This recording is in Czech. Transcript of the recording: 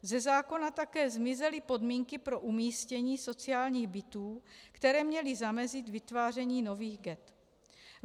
Ze zákona také zmizely podmínky pro umístění sociálních bytů, které měly zamezit vytváření nových ghett.